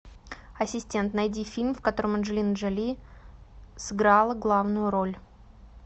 ассистент найди фильм в котором анджелина джоли сыграла главную роль